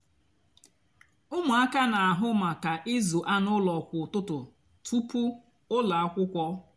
úmụaka nà-àhụ mákà ịzụ ánú úló kwá útútú túpú úló ákwúkwọ.